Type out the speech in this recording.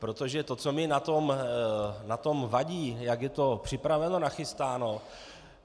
Protože to, co mi na tom vadí, jak je to připraveno, nachystáno.